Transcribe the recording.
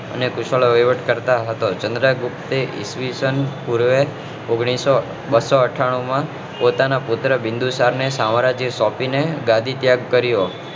અને કુશલા વહીવટકર્તા હતો જ ચંદ્રગુપ્તે ઈસ્વીસન પૂર્વે ઓન્ગ્લીસો બસો અઠાનું માં પોતાના પુત્ર બિંદુ ને પોતાનું સામ્રાજ્ય સોંપી ને ગાદી ત્યાગ કર્યો